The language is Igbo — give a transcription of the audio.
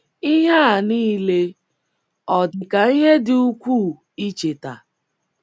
Ihe a nile ọ dị ka ihe dị ukwuu icheta?